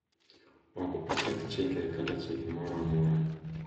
Ok oketh chike kata chike moro amora.